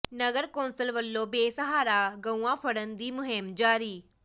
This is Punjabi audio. ਨਗਰ ਕੌਂਸਲ ਵੱਲੋਂ ਬੇਸਹਾਰਾ ਗਊਆਂ ਫੜ੍ਹਨ ਦੀ ਮੁਹਿੰਮ ਜਾਰੀ